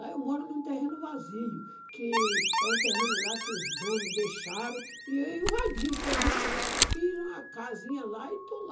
Lá eu moro num terreno vazio, que é um terreno lá que os donos deixaram, e eu invadi o terreno e fiz uma casinha lá e estou lá.